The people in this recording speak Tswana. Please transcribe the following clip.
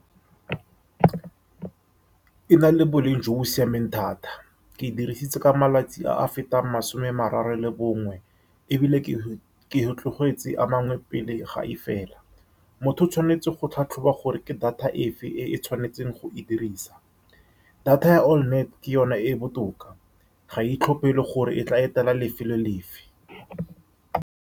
E na le boleng jo bo siameng thata. Ke e dirisitse ka malatsi a a fetang masome a mararo le bongwe, ebile ke e tlogetse a mangwe pele ga e fela. Motho o tshwanetse go tlhatlhoba gore ke data efe e e tshwanetseng go e dirisa. Data ya all night ke yone e e botoka, ga e itlhophele gore e tla etela lefelo lefe.